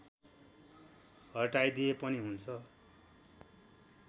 हटाइदिए पनि हुन्छ